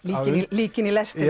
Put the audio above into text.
líkin í lestinni